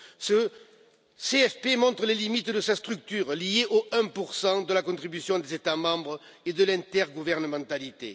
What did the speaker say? Ce CFP montre les limites de sa structure liée au 1 de la contribution des États membres et de l'intergouvernementalité.